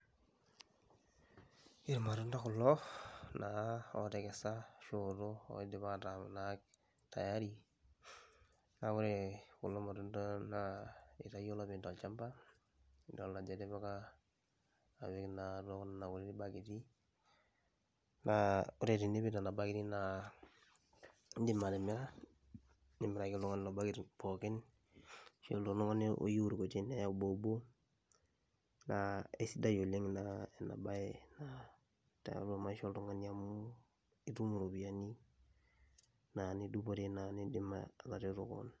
Irmatunda kulo otkesa, ooto ashu oidipa ataa tayari neaku ore kulo matunda itawuo olopeny tolchamba nidol ajo etipika atua kuna kuti baketi, ore peipik nona baketi na indim atimira nimiraki ltunganak ina baket pookin, ore oltungani loyieu nkuti neya oboobo naa aisidai oleng inabae tiatua maisha oltunganak nitum iropiyani nidupire nindim atereto kewon.